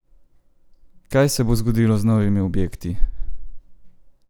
Kaj se bo zgodilo z novimi objekti?